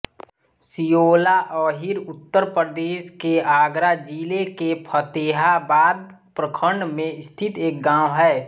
सियोला अहीर उत्तर प्रदेश के आगरा जिले के फ़तेहाबाद प्रखंड में स्थित एक गाँव है